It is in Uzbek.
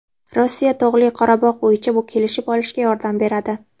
Rossiya Tog‘li Qorabog‘ bo‘yicha kelishib olishga yordam beradi.